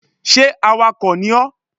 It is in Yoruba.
Sé awakò ni ó?